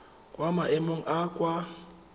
kwa maemong a a kwa